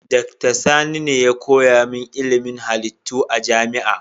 Dr. Sani ne ya koya min ilimin halittu a jami'a.